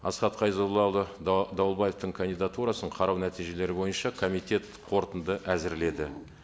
асхат қайзоллаұлы дауылбаевтың кандидатурасын қарау нәтижелері бойынша комитет қорытынды әзірледі